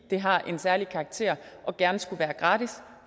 det har en særlig karakter og gerne skulle være gratis